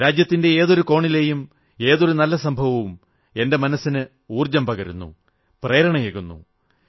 രാജ്യത്തിന്റെ ഏതൊരു കോണിലെയും ഏതൊരു നല്ല സംഭവവും എന്റെ മനസ്സിന് ഊർജ്ജം പകരുന്നു പ്രേരണയേകുന്നു